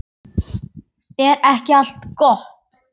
Er ekki allt gott?